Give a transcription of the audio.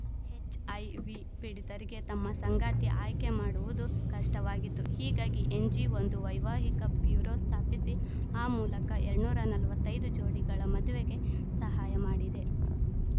HIV ಪೀಡಿತರಿಗೆ ತಮ್ಮ ಸಂಗಾತಿ ಆಯ್ಕೆ ಮಾಡುವುದು ಕಷ್ಟವಾಗಿತ್ತು ಹೀಗಾಗಿ ಎನ್‌ಜಿ ಒಂದು ವೈವಾಹಿಕ ಬ್ಯೂರೋ ಸ್ಥಾಪಿಸಿ ಆ ಮೂಲಕ ಎಳ್ನೂರ ನಲವತ್ತ್ ಐದು ಜೋಡಿಗಳ ಮದುವೆಗೆ ಸಹಾಯ ಮಾಡಿದೆ